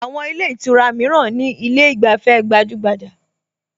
Àwọn ilé ìtura mìíràn ní ilé ìgbafẹ́ gbajúgbajà